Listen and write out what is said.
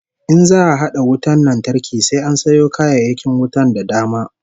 In za'a hada wutar lantarki sai an sayo kayayyakin wutar da dama